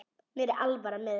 Mér er alvara með þessu.